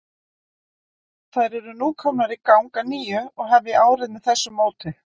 Þær eru nú komnar í gang að nýju og hefja árið með þessu móti.